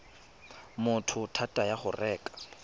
motho thata ya go reka